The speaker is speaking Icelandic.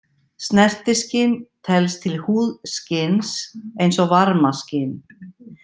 Snertiskyn telst til húðskyns eins og varmaskyn.